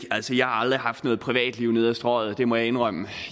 altså jeg har aldrig haft noget privatliv ned ad strøget det må jeg indrømme